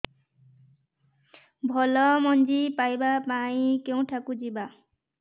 ଭଲ ମଞ୍ଜି ପାଇବା ପାଇଁ କେଉଁଠାକୁ ଯିବା